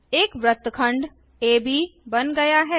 एक वृत्तखंड एबी बन गया है